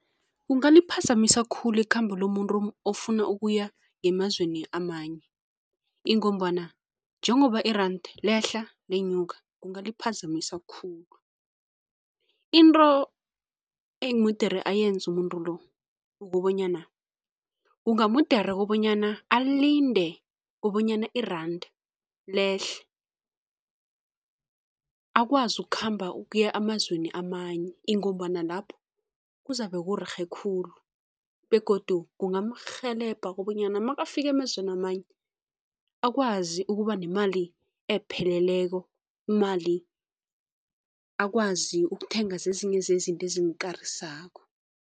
Kungaliphazamisa khulu ikhamba lomuntu ofuna ukuya ngemazweni amanye ingombana njengoba i-rand lehla lenyuka, kungaliphazamisa khulu. Into emudere ayenze umuntu lo kukobanyana kungamudure kobanyana alinde kobanyana iranda lehle, akwazi ukukhamba ukuya emazweni amanye ingombana lapho kuzabe kurerhe khulu begodu kungamrhelebha kobanyana makafika emazweni amanye akwai ukuba nemali epheleleko imali akwazi ukuthenga zezinye zezinto ezimkarisako.